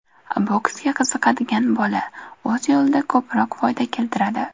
Boksga qiziqadigan bola, o‘z yo‘lida ko‘proq foyda keltiradi.